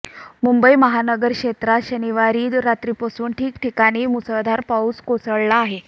मुंबई महानगर क्षेत्रात शनिवारी रात्रीपासून ठिकठिकाणी मुसळधार पाऊस कोसळला आहे